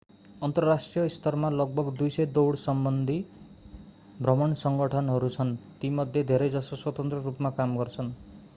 अन्तर्राष्ट्रिय स्तरमा लगभग 200 दौडसम्बन्धी भ्रमण सङ्गठनहरू छन् तीमध्ये धेरै जसो स्वतन्त्र रूपमा काम गर्छन्